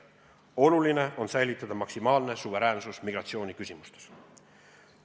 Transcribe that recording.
Oluline on säilitada maksimaalne suveräänsus migratsiooniküsimustes.